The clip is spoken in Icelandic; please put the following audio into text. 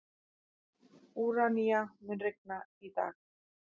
Úranía, mun rigna í dag?